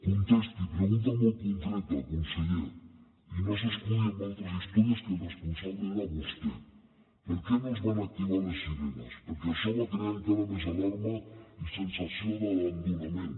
contesti pregunta molt concreta conseller i no s’escudi en altres històries que el responsable era vostè per què no es van activar les sirenes perquè això va crear encara més alarma i sensació d’abandonament